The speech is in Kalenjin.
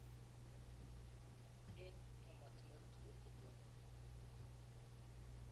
Eng emotinwek tugul che tononie.